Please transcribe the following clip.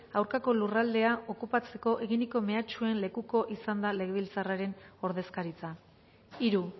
aurkako lurraldea okupatzeko eginiko mehatxuen lekuko izan da legebiltzarraren ordezkaritza hiru